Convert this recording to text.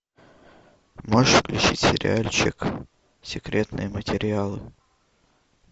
можешь включить сериальчик секретные материалы